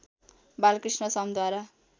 Balkrishna समद्वारा